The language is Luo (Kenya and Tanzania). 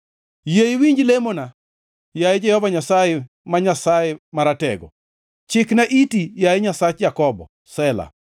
Yie iwinj lemona, yaye Jehova Nyasaye, ma Nyasaye Maratego; chikna iti, yaye Nyasach Jakobo. Sela